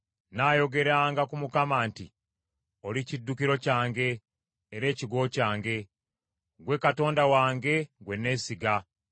Nnaayogeranga ku Mukama nti, Oli kiddukiro kyange era ekigo kyange; ggwe Katonda wange gwe nneesiga.